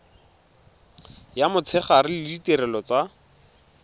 ya motshegare le ditirelo tsa